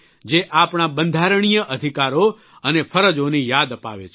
જે આપણા બંધારણીય અધિકારો અને ફરજોની યાદ અપાવે છે